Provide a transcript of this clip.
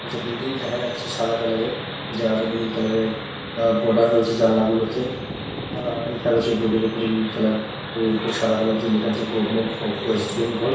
একটা বিল্ডিং দেখা যাচ্ছে সাদা কালারের । যার নীল কালারের আহ বর্ডার রয়েছে জানলা গুলোতে আর লেখা রয়েছে বোর্ডের ওপরে নীল কালার এর অপর সাদা কালার দিয়ে লেখা আছে গভর্নমেন্ট অফ ওয়েস্ট বেঙ্গল ।